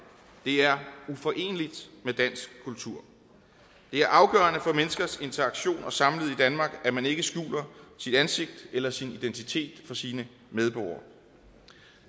det er uforeneligt med dansk kultur det er afgørende for menneskers interaktion og samliv i danmark at man ikke skjuler sit ansigt eller sin identitet for sine medborgere